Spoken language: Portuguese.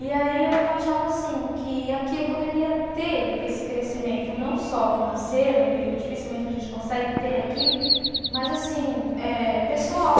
E aí eu achava assim, que aqui eu poderia ter esse crescimento não só financeiro, que dificilmente a gente consegue ter aqui, mas assim, eh pessoal.